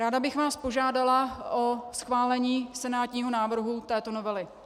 Ráda bych vás požádala o schválení senátního návrhu této novely.